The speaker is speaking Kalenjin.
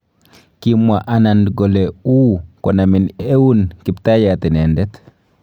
Kimwa Anand kole uu konamin eun kiptayat inendeet.